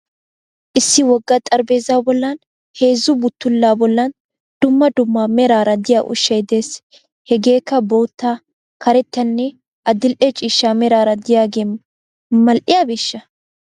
Issi wogga xarapheeza bollan heezzu buttullaa bollan dumma dumma meraara diya ushshay des. Hegeekka bootta, karettanne adil'e ciishsha meraara diyagee mal'iyabeeshsha?